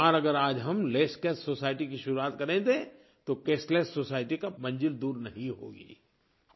एक बार अगर आज हम लेसकैश सोसाइटी की शुरुआत कर दें तो कैशलेस सोसाइटी की मंज़िल दूर नहीं होगी